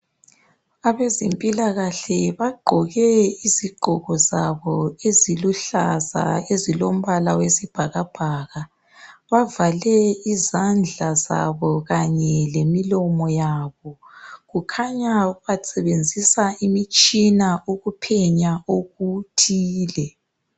Abezempilakahle kagqoke izigqoko zabo eziluhlaza ezilombala wesibhakabhaka bavale izandla zabo kanye lemilomo yabo kukhanya basebenzisa imitshina ukuphenya okuthile